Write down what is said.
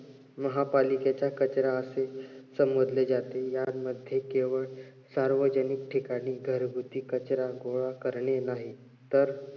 महापालिकेचा कचरा असे समजले जाते. यामध्ये केवळ सार्वजनिक ठिकाणी घरगुती कचरा गोळा करणे नाही तर